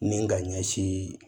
Ni ka ɲɛsin